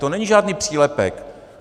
To není žádný přílepek.